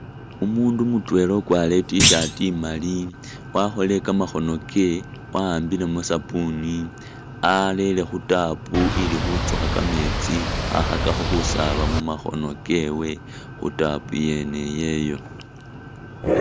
Umuundu mutwela ukwarire i'T-shirt imaali wakholile kamakhono ke wahambile mu sabuni alere khu tap ili khutsukha kameetsi khakhakakho khusaaba mu makhono kewe khu tap yene iyeyo.